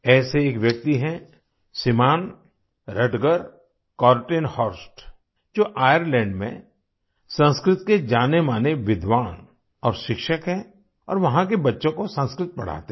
ऐसे ही एक व्यक्ति हैं श्रीमान् रटगर कोर्टेनहॉर्स्ट जो आयरलैंड में संस्कृत के जानेमाने विद्वान और शिक्षक हैं और वहाँ के बच्चों को संस्कृत पढ़ाते हैं